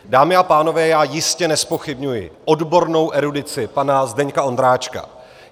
Dámy a pánové, já jistě nezpochybňuji odbornou erudici pana Zdeňka Ondráčka.